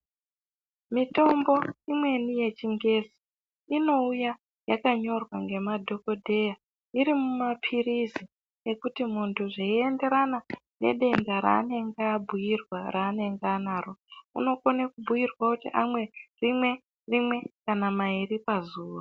Mitombo imweni yechingezi inouya yakanyorwa ngemadhokodheya iri mumapirizi kupa muntu zveienderana nedenda rake raanenge abhiirwa raanenge anaro. Unokone kubhiirwa kuti amwe rimwe kana mairi pazuwa.